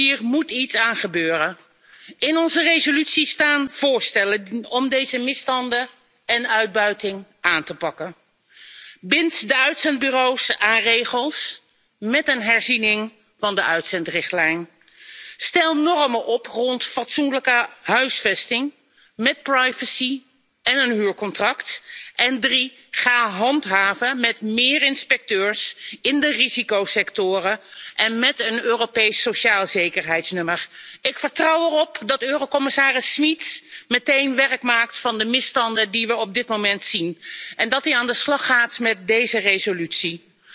eens hier moet iets aan gebeuren! In onze resolutie staan voorstellen om deze misstanden en uitbuiting aan te pakken. Bind de uitzendbureaus aan regels met een herziening van de uitzendrichtlijn. Stel normen op rond fatsoenlijke huisvesting met privacy en een huurcontract. En ga handhaven met meer inspecteurs in de risicosectoren en met een Europees socialezekerheidsnummer. Ik vertrouw erop dat eurocommissaris Schmit meteen werk maakt van de misstanden die we op dit moment zien en dat hij aan de slag gaat met deze